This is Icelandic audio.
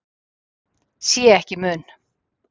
Sé ekki mun.